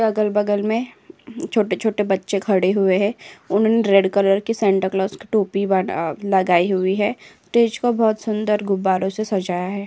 अगल-बगल में छोटे-छोटे बच्चे खड़े हुए हैं। उनन रेड कलर की सेन्टा क्लास की टोपी बाट् अ लगाई हुई हैं। टेज को बहोत सुंदर गुब्बारों से सजाया है।